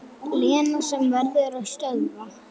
Lena sem verður að stöðva.